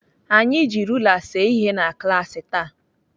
Anyị ji rula see ihe na klaasị taa.